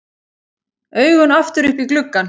Augun aftur upp í gluggann.